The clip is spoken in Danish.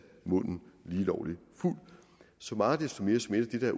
munden lige lovlig fuld så meget desto mere som et af